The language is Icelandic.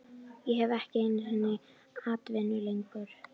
Ég hef ekki einu sinni atvinnu lengur